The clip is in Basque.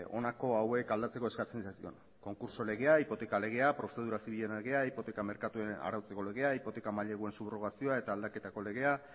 honako hauek aldatzeko eskatzen zitzaion konkurso legea hipoteka legea prozedura zibilen legea hipoteka merkaturen arautzeko legea hipoteka maileguen subrogazioa eta aldaketako legea